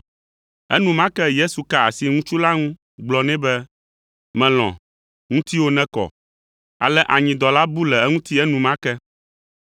Enumake Yesu ka asi ŋutsu la ŋu gblɔ nɛ be, “Mèlɔ̃, ŋutiwò nekɔ.” Ale anyidɔ la bu le eŋuti enumake.